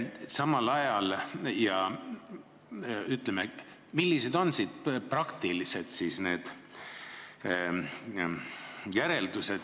Millised on sellest tehtavad praktilised järeldused?